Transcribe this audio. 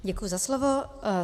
Děkuji za slovo.